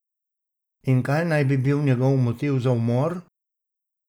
In kaj naj bi bil njegov motiv za umor?